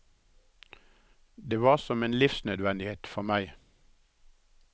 Det var som en livsnødvendighet for meg.